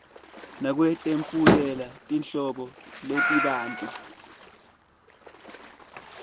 nekwetfulela tinhlobo letibanti